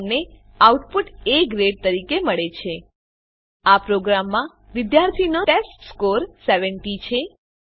આપણને output A grade તરીકે મળે છે આ પ્રોગ્રામમાં વિદ્યાર્થીનો ટેસ્ટસ્કોર ૭૦ છે